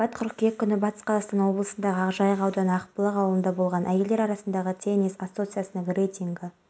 біз қоғамдық дәстүрлі шараларды ұйымдастыра отырып тұрғындарға қызмет көрсету деңгейін жақсартқымыз келеді мемлекеттік органдардың жабықтығы туралы